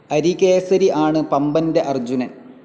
അരികേസരി ആണ് പംപൻറെ അർജുനൻ.